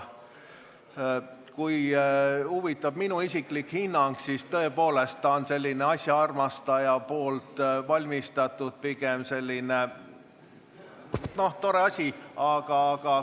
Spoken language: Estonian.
Kui teid huvitab minu isiklik hinnang, siis ta tõepoolest on tore, aga pigem asjaarmastaja valmistatud ese.